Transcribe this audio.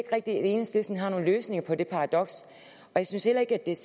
at enhedslisten har nogen løsninger på det paradoks og jeg synes heller ikke at det er